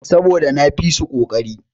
Saboda na fisu koƙari.